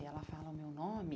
E ela fala o meu nome,